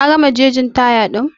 Ka gama gegin taya din?